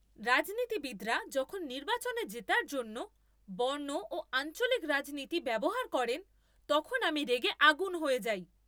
রাজনীতিবিদরা যখন নির্বাচনে জেতার জন্য বর্ণ ও আঞ্চলিক রাজনীতি ব্যবহার করেন, তখন আমি রেগে আগুন হয়ে যাই।